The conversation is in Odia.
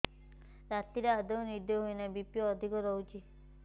ରାତିରେ ଆଦୌ ନିଦ ହେଉ ନାହିଁ ବି.ପି ଅଧିକ ରହୁଛି